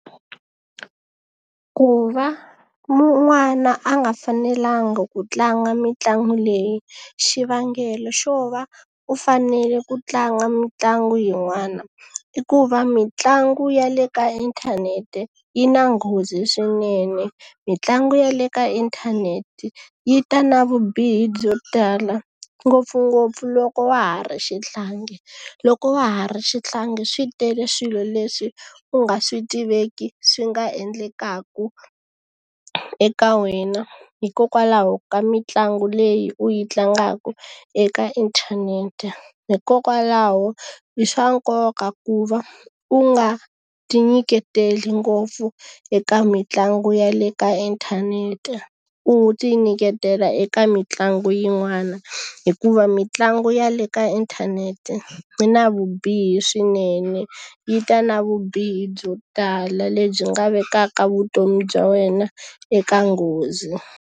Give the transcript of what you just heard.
Ku va n'wana a nga fanelangi ku tlanga mitlangu leyi xivangelo xo va u fanele ku tlanga mitlangu yin'wana, i ku va mitlangu ya le ka inthanete yi na nghozi swinene. Mitlangu ya le ka inthanete yi ta na vubihi byo tala ngopfungopfu loko wa ha ri xihlangi. Loko wa ha ri xihlangi swi tele swilo leswi u nga swi tiveki swi nga endlekaka eka wena hikokwalaho ka mitlangu leyi u yi tlangaka eka inthanete. Hikokwalaho i swa nkoka ku va u nga ti nyiketeli ngopfu eka mitlangu ya le ka inthanete, u ti nyiketela eka mitlangu yin'wana. Hikuva mitlangu ya le ka inthanete yi na vubihi swinene, yi ta na vubihi byo tala lebyi nga vekaka vutomi bya wena eka nghozi.